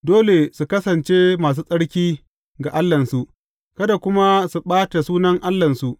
Dole su kasance masu tsarki ga Allahnsu, kada kuma su ɓata sunan Allahnsu.